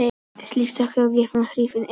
Slík sök er ekki gefin hnífnum eða veðrinu.